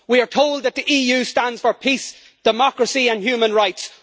We are told that the EU stands for peace, democracy and human rights.